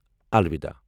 الوِدا !